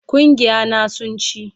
Gungiya na sun ci